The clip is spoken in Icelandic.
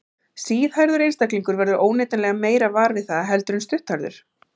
Síðhærður einstaklingur verður óneitanlega meira var við það heldur en stutthærður.